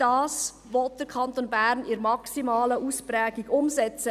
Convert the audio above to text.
Dies will der Kanton Bern in der maximalen Ausprägung umsetzen.